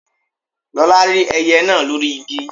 Lọlá rí ẹyẹ náà lórí igi